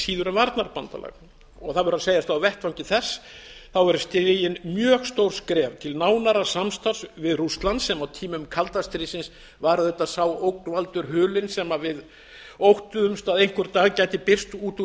síður en varnarbandalag það verður að segjast að á vettvangi þess verða stigin mjög stór skref til nánara samstarfs við rússland sem á tímum kalda stríðsins var auðvitað sá ógnvaldur hulinn sem við óttuðumst að einhvers staðar gæti birst út úr